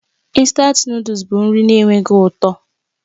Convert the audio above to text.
Instant Nụ́dúls bụ nri na-enweghị ụtọ